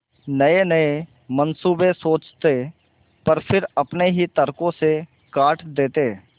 नयेनये मनसूबे सोचते पर फिर अपने ही तर्को से काट देते